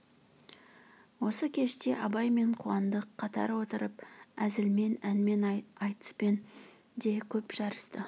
осы кеште абай мен қуандық қатар отырып әзілмен әнмен айтыспен де көп жарысты